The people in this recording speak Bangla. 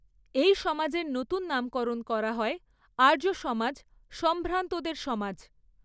এই সমাজের নতুন নামকরণ করা হয় আর্য সমাজ সম্ভ্রান্তদের সমাজ।